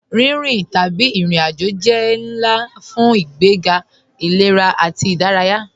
Rínrín tabí irin-ájò jẹ́ nlá fun ìgbègá ilẹ̀rà ati ìdáràyà.